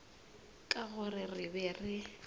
ka gore re be re